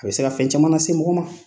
A bɛ se ka fɛn caman lase mɔgɔ ma.